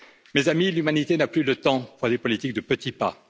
Mes amis, l'humanité n'a plus le temps pour des politiques de petits pas.